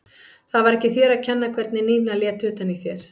Það var ekki þér að kenna hvernig Nína lét utan í þér.